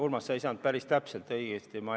Urmas, sa ei saanud päris täpselt õigesti aru.